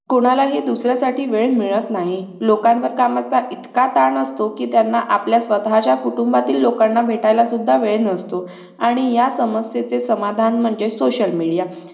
कोणालाही दुसऱ्यासाठी वेळ मिळत नाही लोकांवर कामाचा इतका ताण असतो कि त्यांना आपल्या स्वतःच्या कुटुंबातील लोकांना भेटला सुद्धा वेळ नसतो आणि या समस्येचे समाधान म्हणजे social media